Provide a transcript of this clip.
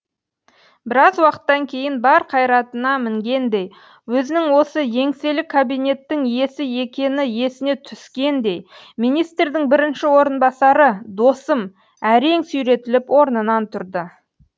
біраз уақыттан кейін бар қайратына мінгендей өзінің осы еңселі кабинеттің иесі екені есіне түскендей министрдің бірінші орынбасары досым әрең сүйретіліп орнынан тұрды